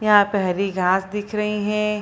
यहां पे हरी घास दिख रही हैं।